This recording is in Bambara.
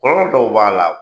Kɔrɔ dɔw b'a la